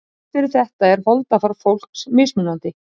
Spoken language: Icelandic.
Þrátt fyrir þetta er holdafar fólks mismunandi.